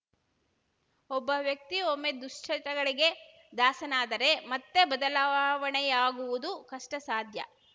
ಒಬ್ಬ ವ್ಯಕ್ತಿ ಒಮ್ಮೆ ದುಶ್ಚಟಗಳಿಗೆ ದಾಸನಾದರೆ ಮತ್ತೆ ಬದಲಾವಣೆಯಾಗುವುದು ಕಷ್ಟಸಾಧ್ಯ